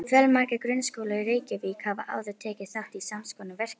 Fjölmargir grunnskólar í Reykjavík hafa áður tekið þátt í sams konar verkefni.